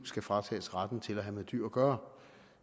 skal fratages retten til at have med dyr at gøre